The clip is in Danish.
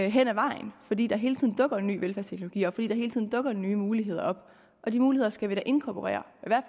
hen ad vejen fordi der hele tiden dukker en ny velfærdsteknologi op fordi der hele tiden dukker nye muligheder op og de muligheder skal vi da inkorporere